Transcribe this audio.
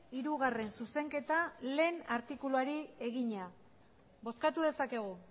hirugarrena zuzenketa batgarrena artikuluari egina bozkatu dezakegu